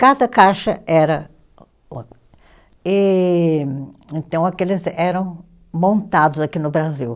Cada caixa era. E então, aqueles eram montados aqui no Brasil.